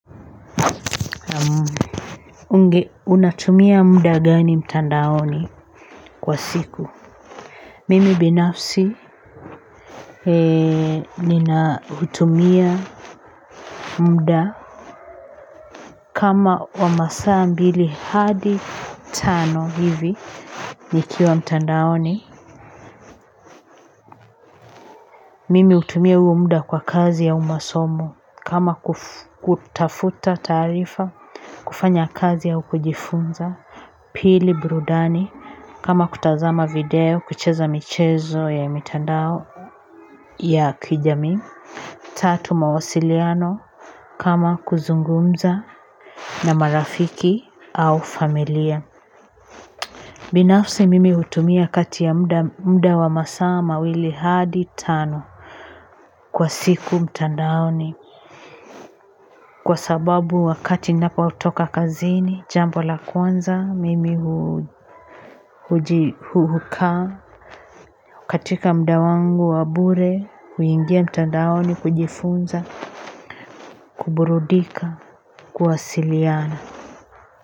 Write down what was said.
Unge, unatumia muda gani mtandaoni kwa siku? Mimi binafsi, hutumia muda kama wa masaa mbili hadi tano hivi nikiwa mtandaoni. Mimi hutumia huo muda kwa kazi au masomo. Kama kutafuta taarifa, kufanya kazi au kujifunza. Pili, burudani kama kutazama video, kucheza michezo ya mitandao ya kijamii. Tatu, mawasiliano kama kuzungumza na marafiki au familia. Binafsi mimi hutumia kati ya mda wa masaa mawili hadi tano kwa siku mtandaoni. Kwa sababu wakati napotoka kazini, jambo la kwanza, mimi hukaa katika muda wangu wa bure, huingia mtandaoni kujifunza, kuburudika, kuwasiliana.